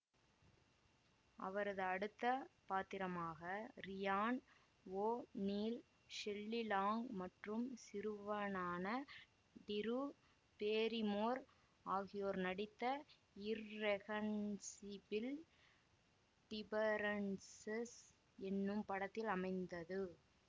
அவரது அடுத்த பாத்திரமாக Ryan O'Neal Shelley Long மற்றும் சிறுவனான டிரு பேரிமோர் ஆகியோர் நடித்த இர்ரெகன்சிபில் டிபரன்சஸ் என்னும் படத்தில் அமைந்தது